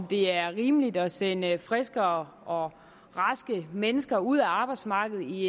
det er rimeligt at sende friske og og raske mennesker ud af arbejdsmarkedet i